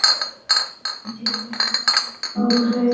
Sindri: Einhver ákveðin tala?